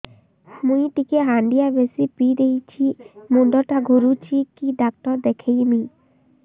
ମୁଇ ଟିକେ ହାଣ୍ଡିଆ ବେଶି ପିଇ ଦେଇଛି ମୁଣ୍ଡ ଟା ଘୁରୁଚି କି ଡାକ୍ତର ଦେଖେଇମି